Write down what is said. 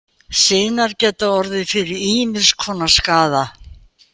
Sinar geta orðið fyrir ýmiss konar skaða.